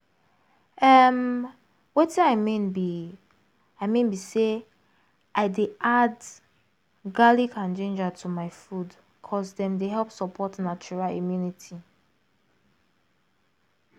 em watin i mean be i mean be say i dey add garlic and ginger to my food ’cause dem dey help support natural immunity